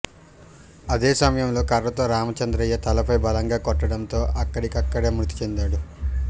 అదే సమయంలో కర్రతో రామచంద్రయ్య తలపై బలంగా కొట్టడంతో అక్కడికక్కడే మృతిచెందాడు